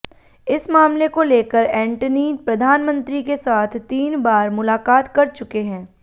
इस मामले को लेकर एंटनी प्रधानमंत्री के साथ तीन बार मुलाकात कर चुके हैं